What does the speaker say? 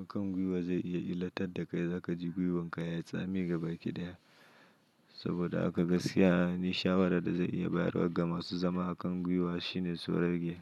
A kan gwiwa zai iya illatar da kai, za ka ji gwiwanka ya yi tsami gabaki ɗaya saboda haka gaskiya nishaɗi da zan iya bayarwa ga masu zama a kan gwiwa shine su rage.